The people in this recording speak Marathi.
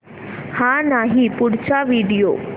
हा नाही पुढचा व्हिडिओ